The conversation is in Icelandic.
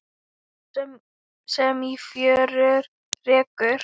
Það sem á fjörur rekur